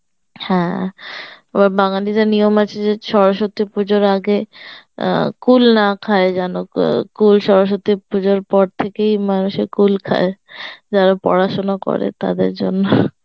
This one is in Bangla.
হ্যাঁ আবার বাঙ্গালীদের নিয়ম আছে যে সরস্বতী পূজার আগে অ্যাঁ কুল না খায় যেন কুল সরস্বতী পূজার পর থেকেই মানুষে কুল খায় যারা পড়াশোনা করে তাদের জন্য